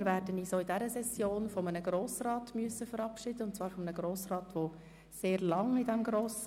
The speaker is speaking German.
Wir werden uns auch in dieser Session von einem Grossrat verabschieden müssen, der diesem Rat schon sehr lange angehört.